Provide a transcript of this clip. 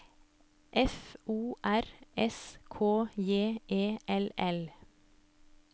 F O R S K J E L L